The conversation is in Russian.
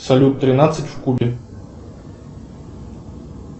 салют тринадцать в кубе